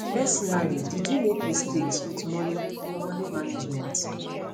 personally did you make mistakes wit money money management